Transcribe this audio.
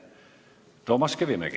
Toomas Kivimägi.